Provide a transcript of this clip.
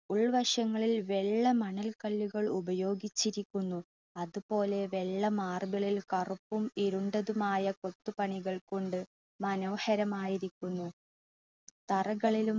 ഉൾവശങ്ങളിൽ വെള്ള മണൽ കല്ലുകൾ ഉപയോഗിച്ചിരിക്കുന്നു. അതുപോലെ വെള്ള marble ൽ കറുപ്പും ഇരുണ്ടതുമായ കൊത്തുപണികൾ കൊണ്ട് മനോഹരമായിരിക്കുന്നു. തറകളിലും